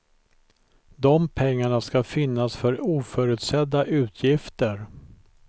De pengarna ska finnas för oförutsedda utgifter.